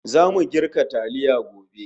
Zamu girka taliya gobe